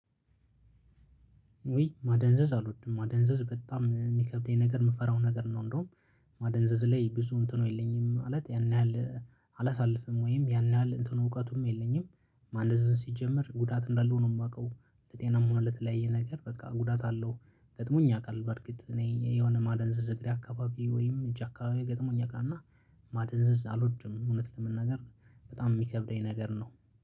ውይ ማደንዘዝ አልወድም ማደንዘዝ በጣም የሚከብደኝ ነገር የምፈራው ነገር ነው። እንደውም ማደንዘዝ ላይ ብዙ እንትኑ የለኝም ማለት ያን ያህል አላሳልፍም ወይም ያን ያህል እንትኑ እውቀቱም የለኝም። ማደንዘዝን ሲጀመር ጉዳት እንዳልሆነ ነው የማውቀው። ለጤና እና ለተለያየ ነገር በቃ ጉዳት አለው። ገጥሞኝ ያውቃል በርግጥ እኔ የሆነ ማደንዘዝ እግሬ አካባቢ ወይም እጅ አካባቢ ገጥሞ ያውቃል እና። ማደንዘዝ አልወድም እውነት ለመናገር በጣም የሚከብደኝ ነገር ነው።